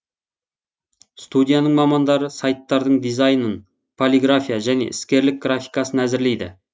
студияның мамандары сайттардың дизайнын полиграфия және іскерлік графикасын әзірлейді